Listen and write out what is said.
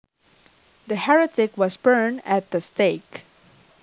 The heretic was burned at the stake